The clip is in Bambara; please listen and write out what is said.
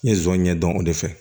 N ye zonzani ɲɛdɔn o de fɛ